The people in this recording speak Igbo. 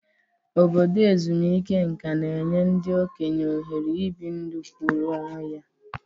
Obodo ezumike nka na-enye ndị okenye ohere ibi ndụ kwụụrụ onwe ya.